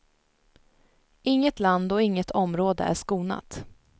Inget land och inget område är skonat.